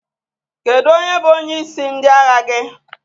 Kedu onye bụ onyeisi ndị agha gị?